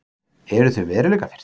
Eru þau veruleikafirrt?